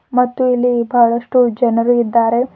ಮತ್ತು ಇಲ್ಲಿ ಬಹಳಷ್ಟು ಜನರು ಇದ್ದಾರೆ.